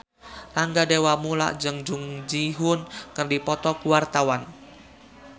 Rangga Dewamoela jeung Jung Ji Hoon keur dipoto ku wartawan